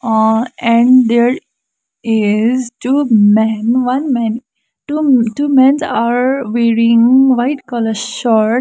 uh and there is two men one men two two mens are wearing white colour shirt.